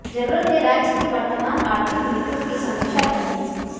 ज़रूरत है राज्य की वर्तमान आर्थिक नीतियों की समीक्षा करने की